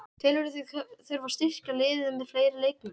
Telurðu þig þurfa að styrkja liðið með fleiri leikmönnum?